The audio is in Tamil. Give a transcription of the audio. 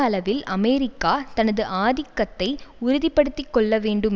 அளவில் அமெரிக்கா தனது ஆதிக்கத்தை உறுதி படுத்தி கொள்ளவேண்டும்